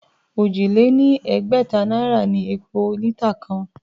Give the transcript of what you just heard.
Òjì lé ní ẹgbẹ̀ta náírà ni epo lítà kan